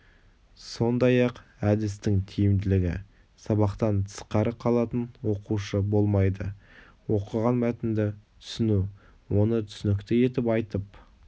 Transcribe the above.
сондай-ақ әдістің тиімділігі сабақтан тысқары қалатын оқушы болмайды оқыған мәтінді түсіну оны түсінікті етіп айтып